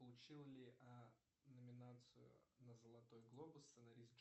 получил ли номинацию на золотой глобус сценарист